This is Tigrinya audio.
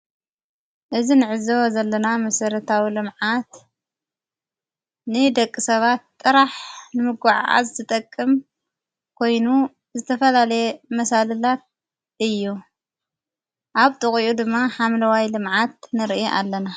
እዝ ንዕዘ ዘለና ምሠረታዊ ለምዓት ንደቂ ሰባት ጥራሕ ንምጐዕዓ ዝዘጠቅም ኮይኑ ዝተፈላለየ መሣልላት እዮ ኣብ ጥቕኡ ድማ ሓምለዋይ ለመዓት ንርኢ ኣለና።